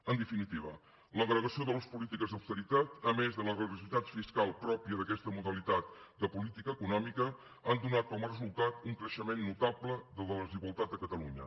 en definitiva l’agregació de les polítiques d’austeritat a més de la regressivitat fiscal pròpia d’aquesta modalitat de política econòmica han donat com a resultat un creixement notable de la desigualtat a catalunya